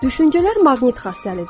Düşüncələr maqnit xassəlidir.